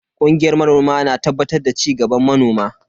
Kungiyar manoma na tabbatar da cigaban manoma.